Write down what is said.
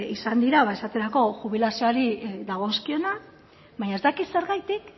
izan dira esaterako jubilazioari dagozkionak baina ez dakit zergatik